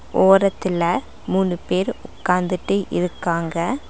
ஓரத்துல மூனு பேர் உக்காந்துட்டு இருக்காங்க.